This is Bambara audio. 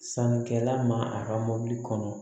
Sannikɛla ma a ka mobili kɔnɔ